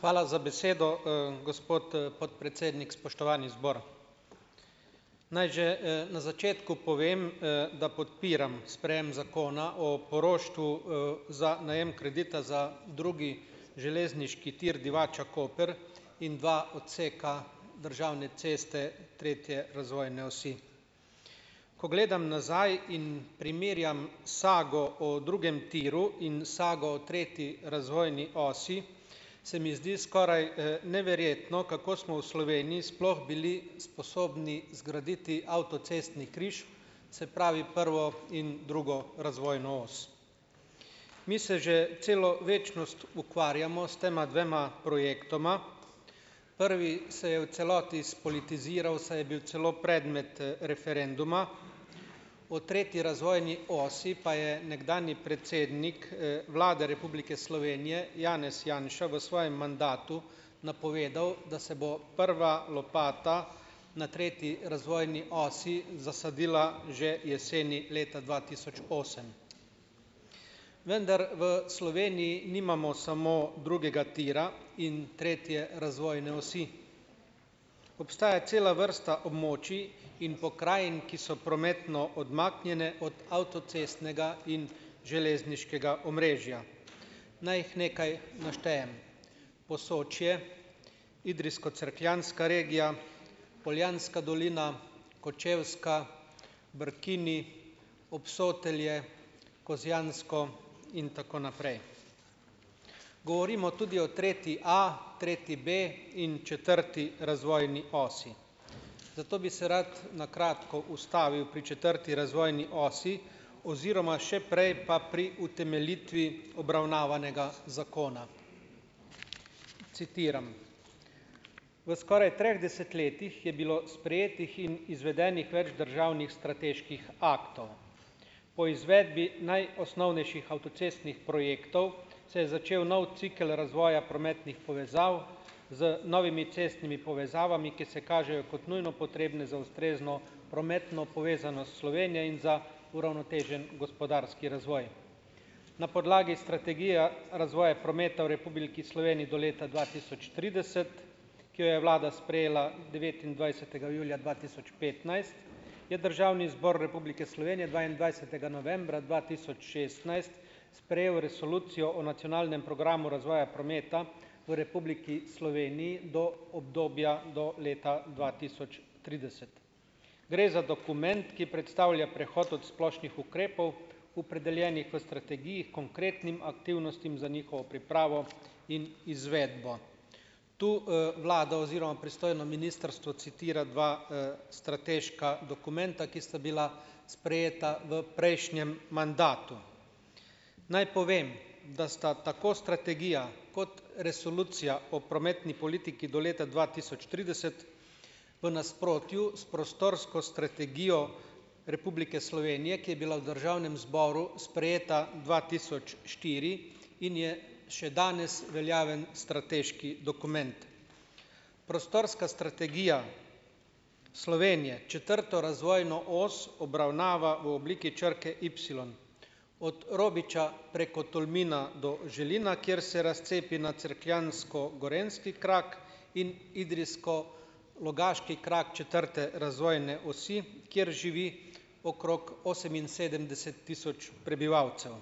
Hvala za besedo, gospod podpredsednik, spoštovani zbor, naj že, na začetku povem, da podpiram sprejem zakona o poroštvu, za najem kredita za drugi železniški tir Divača-Koper in dva odseka državne ceste tretje razvojne osi. Ko gledam nazaj in primerjam sago o drugem tiru in sago o tretji razvojni osi, se mi zdi, skoraj neverjetno, kako smo v Sloveniji sploh bili sposobni zgraditi avtocestni križ, se pravi, prvo in drugo razvojno os. Mi se že celo večnost ukvarjamo s tema dvema projektoma, prvi se je v celoti spolitiziral, saj je bil celo predmet referenduma, o tretji razvojni osi pa je nekdanji predsednik, Vlade Republike Slovenije Janez Janša v svojem mandatu napovedal, da se bo prva lopata na tretji razvojni osi zasadila že jeseni leta dva tisoč osem, vendar v Sloveniji nimamo samo drugega tira in tretje razvojne osi, obstaja cela vrsta območij in pokrajin, ki so prometno odmaknjene od avtocestnega in železniškega omrežja. Naj jih nekaj naštejem: Posočje, idrijsko-cerkljanska regija, Poljanska dolina, Kočevska, Brkini, Obsotelje, Kozjansko in tako naprej. Govorimo tudi o tretji A, tretji B in četrti razvojni osi, zato bi se rad na kratko ustavil pri četrti razvojni osi oziroma še prej pa pri utemeljitvi obravnavanega zakona. Citiram. V skoraj treh desetletjih je bilo sprejetih in izvedenih več državnih strateških aktov. Po izvedbi najosnovnejših avtocestnih projektov se je začel nov cikel razvoja prometnih povezav z novimi cestnimi povezavami, ki se kažejo kot nujno potrebne za ustrezno prometno povezanost s Slovenijo in za uravnotežen gospodarski razvoj. Na podlagi strategije razvoja prometa v Republiki Sloveniji do leta dva tisoč trideset, ki jo je vlada sprejela devetindvajsetega julija dva tisoč petnajst je Državni zbor Republike Slovenije dvaindvajsetega novembra dva tisoč šestnajst sprejel resolucijo o nacionalnem programu razvoja prometa v Republiki Sloveniji do obdobja do leta dva tisoč trideset. Gre za dokument, ki predstavlja prehod od splošnih ukrepov, opredeljenih v strategiji, konkretnim aktivnostim za njihovo pripravo in izvedbo. Tu, vlada oziroma pristojno ministrstvo citira dva, strateška dokumenta, ki sta bila sprejeta v prejšnjem mandatu. Naj povem, da sta tako strategija kot resolucija o prometni politiki do leta dva tisoč trideset v nasprotju s prostorsko strategijo Republike Slovenije, ki je bila v državnem zboru sprejeta dva tisoč štiri in je še danes veljaven strateški dokument. Prostorska strategija Slovenije četrto razvojno os obravnava v obliki črke ipsilon od Robiča preko Tolmina do Želina, kjer se razcepi na cerkljansko-gorenjski krak in idrijsko- logaški krak četrte razvojne osi, kjer živi okrog oseminsedemdeset tisoč prebivalcev.